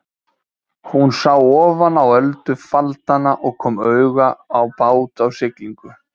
Hún sá ofan á öldufaldana og kom auga á bát á siglingu.